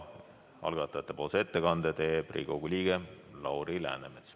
Algatajate ettekande teeb Riigikogu liige Lauri Läänemets.